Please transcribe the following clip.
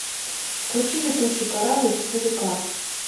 включи летучий корабль четыре к